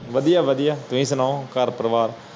ਵਾਦੀਆਂ ਵਾਦੀਆਂ ਫਿਰ ਸੁਣਾਓ ਘਰ ਪਰਿਵਾਰ